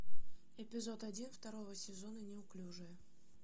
эпизод один второго сезона неуклюжие